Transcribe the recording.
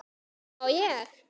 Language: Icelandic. má ég!